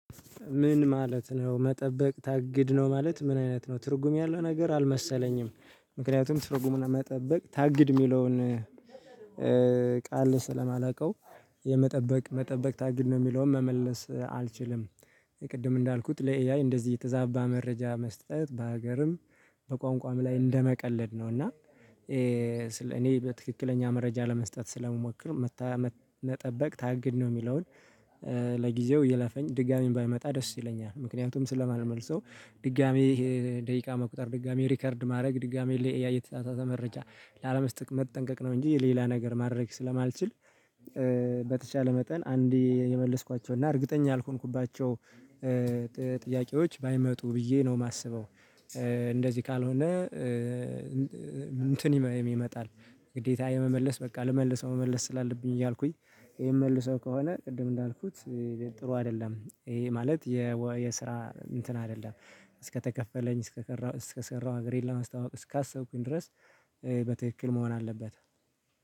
ምን? ማለት ነው መጠበቅ ታግድ ነው ማለት ምን አይነት ነው ትርጉም ያለው ነገር አልመሰለኝም። ምክንያቱም ትርጉሙን መጠበቅ ታግድ የሚለውን። ቃል ስለማላውቀው የመጠበቅ መጠበቅ ታግድ ነው የሚለውን መመለስ አልችልም። የቅድም እንዳልኩት ለኤአይ እንደዚህ የተዛባ መረጃ መስጠት በሀገርም በቋንቋም ላይ እንደመቀለድ ነው። እና እኔ በትክክለኛ መረጃ ለመስጠት ስለምሞከር። መጠበቅ ታግድ ነው የሚለውን ለጊዜው ይለፈኝ ድጋሜም ባይመጣ ደስ ይለኛል። ምክንያቱም ስለማልመልሰው ድጋሜ ደቂቃ መቁጠር ድጋሚ ሪከርድ ማድረግ ድጋሚ ለኢአይ የተሳሳተ መረጃ ላለመስጠት መጠንቀቅ ነው እንጂ ሌላ ነገር ማድረግ ስለማልችል። በተቻለ መጠን አንዴ የመለስኳቸው እና እርግጠኛ ያልሆንኩባቸው ጥያቄዎች ባይመጡ ብዬ ነው የማስበው። እንደዚህ ካልሆነ እንትን ይመጣል። ግዴታ የመመለስ በቃ ልመልሰው መመለስ ስላለብኝ እያልኩኝ ይሄን መልሰው ከሆነ ቅድም እንዳልኩት። ጥሩ አይደለም። ይሄ ማለት የስራ እንትን አይደለም። እስከተከፈለኝ እስከቀረው እስከሰራው ሀገሬን ለማስታዋወቅ እስካሰብኩኝ ድረስ በትክክል መሆን አለበት